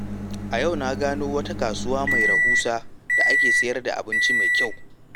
A yau na gano wata kasuwa mai rahusa da ake sayar da abinci mai kyau.